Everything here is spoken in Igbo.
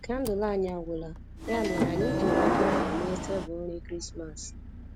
Kandụl anyi agwụla, ya mere anyị jiri oriọna mee tebụl nri Krismas